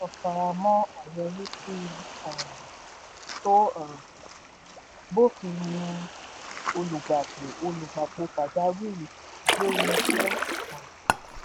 faramọ́ àyọrísí um tó um bófin mu olùgbapò olùgbapò pàjáwìrì lórí iṣẹ́. um